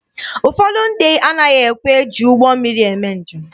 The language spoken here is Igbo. Ụfọdụ ndị anaghị ekwe eji ụgbọ mmiri eme njem